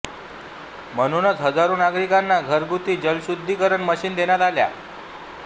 म्हणूनच हजारो नागरिकांना घरगुती जलशुद्धीकरण मशीन देण्यात आल्या